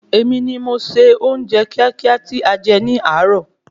Èmi ni mo se oúnjẹ kíákíá tí a jẹ ní àáro